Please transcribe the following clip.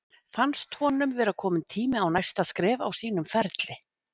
Fannst honum vera kominn tími á næsta skref á sínum ferli?